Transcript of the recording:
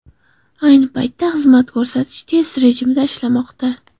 Ayni paytda xizmat test rejimida ishlamoqda.